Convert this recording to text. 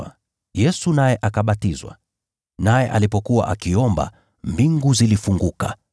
Baada ya watu wote kubatizwa, Yesu naye akabatizwa. Naye alipokuwa akiomba, mbingu zilifunguka.